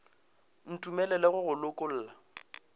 o ntumelele go go lokolla